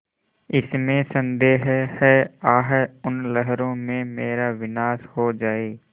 इसमें संदेह है आह उन लहरों में मेरा विनाश हो जाए